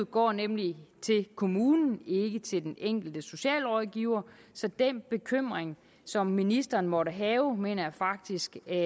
går nemlig til kommunen ikke til den enkelte socialrådgiver så den bekymring som ministeren måtte have mener jeg faktisk er